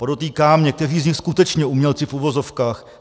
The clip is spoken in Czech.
Podotýkám, někteří z nich skutečně umělci v uvozovkách.